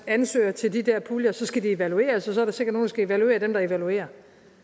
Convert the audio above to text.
ansøger til de der puljer og så skal de evalueres og så er der sikkert nogle der skal evaluere dem der evaluerer